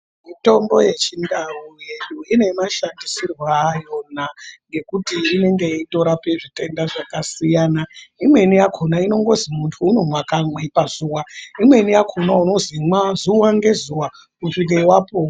Mitombo ye chindau yedu ine mashandisirwo ayona ekuti inonge yeito rape zvitenda zvakasiyana imweni yakona inongonzi munhu unomwe kamwe pazuva imweni yakona inonzi imwe zuva ne zuva kusvika wapora.